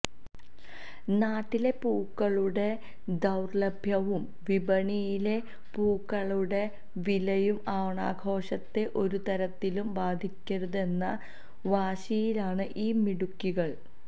നാട്ടിലെ പൂക്കളുടെ ദൌര്ലഭ്യവും വിപണിയിലെ പൂക്കളുടെ വിലയും ഒണാഘോഷത്തെ ഒരുതരത്തിലും ബാധിക്കരുതെന്ന വാശിയിലാണ് ഈ മിടുക്കികള്